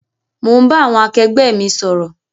Mo ń bá àwọn akẹgbẹ́ mi sọ̀rọ̀